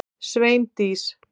Sveindís